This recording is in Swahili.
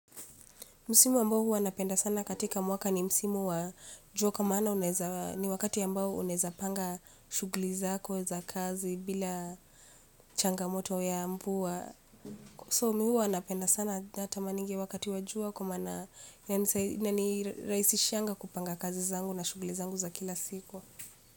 Msimu ambao huwa napenda sana katika mwaka ni msimu wa jua kwa maana unaeza ni wakati ambao unaeza panga shuguli zako za kazi bila changamoto ya mvua. So mi huwanapenda sana na tamaningi wakati wa jua kwa maana inanirahisishianga kupanga kazi zangu na shuguli zangu za kila siku.